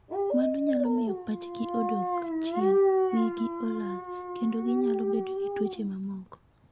Mano nyalo miyo pachgi odog chien, wigi olal, kendo ginyalo bedo gi tuoche mamoko.